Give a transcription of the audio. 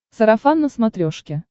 сарафан на смотрешке